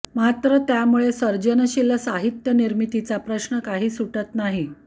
मात्र त्यामुळे सर्जनशील साहित्य निर्मितीचा प्रश्न काही सुटत नाही